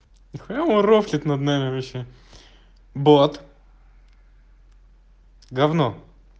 нихуя он рофлит над нами вообще бот гавно